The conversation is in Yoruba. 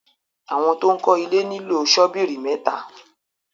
awọn to'n kò ilè nilo Sọ́bíìrì méta